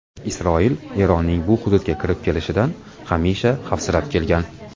Isroil Eronning bu hududga kirib kelishidan hamisha xavfsirab kelgan.